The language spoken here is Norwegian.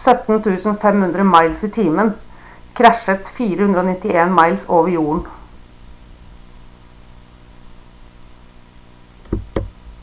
ca 17 500 miles i timen krasjet 491 miles over jorden